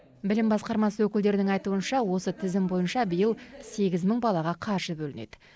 білім басқармасы өкілдерінің айтуынша осы тізім бойынша биыл сегіз мың балаға қаржы бөлінеді